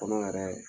Kɔnɔ yɛrɛ